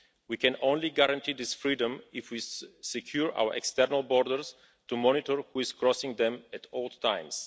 We can only guarantee this freedom if we secure our external borders to monitor who is crossing them at all times.